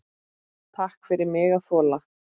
Takk fyrir mig að þola.